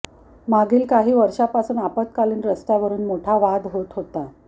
मागील काही वर्षापासून आपत्कालीन रस्त्यावरून मोठा वाद होत होता